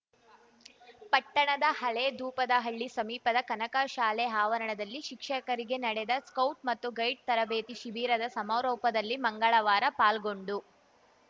ಪಟ್ಟಣದ ಹಳೇದೂಪದಹಳ್ಳಿ ಸಮೀಪದ ಕನಕ ಶಾಲೆ ಆವರಣದಲ್ಲಿ ಶಿಕ್ಷಕರಿಗೆ ನಡೆದ ಸ್ಕೌಟ್ ಮತ್ತು ಗೈಡ್ ತರಬೇತಿ ಶಿಬಿರದ ಸಮಾರೋಪದಲ್ಲಿ ಮಂಗಳವಾರ ಪಾಲ್ಗೊಂಡು